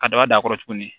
Ka daba d'a kɔrɔ tuguni